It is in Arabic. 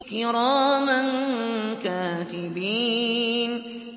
كِرَامًا كَاتِبِينَ